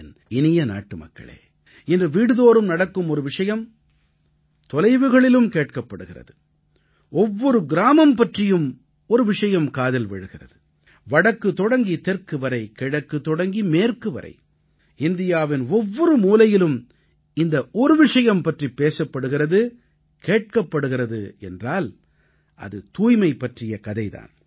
என் இனிய நாட்டுமக்களே இன்று வீடுதோறும் நடக்கும் ஒரு விஷயம் தொலைவுகளிலும் கேட்கப்படுகிறது ஒவ்வொரு கிராமம் பற்றியும் ஒரு விஷயம் காதில் விழுகிறது வடக்கு தொடங்கி தெற்கு வரை கிழக்கு தொடங்கி மேற்கு வரை இந்தியாவின் ஒவ்வொரு மூலையிலும் இந்த ஒரு விஷயம் பற்றி பேசப்படுகிறது கேட்கப்படுகிறது என்றால் அது தூய்மை பற்றிய கதை தான்